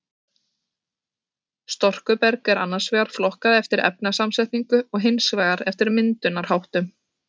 Storkuberg er annars vegar flokkað eftir efnasamsetningu og hins vegar eftir myndunarháttum.